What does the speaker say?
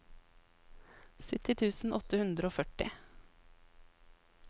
sytti tusen åtte hundre og førti